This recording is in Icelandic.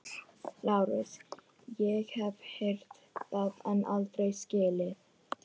LÁRUS: Ég hef heyrt það en aldrei skilið.